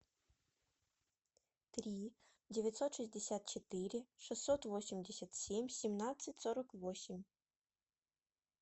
три девятьсот шестьдесят четыре шестьсот восемьдесят семь семнадцать сорок восемь